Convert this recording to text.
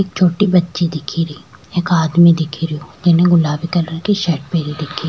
एक छोटी बच्ची दिख रही एक आदमी दिखेरो जीने गुलाबी कलर की शर्ट पहरी दिख --